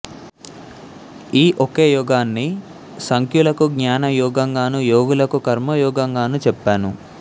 ఈ ఒకే యోగాన్ని సాంఖ్యులకు జ్ఞాన యోగంగానూ యోగులకు కర్మయోగంగానూ చెప్పాను